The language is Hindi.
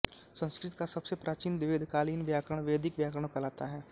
संस्कृत का सबसे प्राचीन वेदकालीन व्याकरण वैदिक व्याकरण कहलाता है